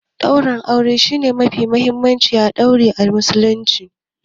Daurin aure shi ne abu mafi mahimmanci a auren Muslunci.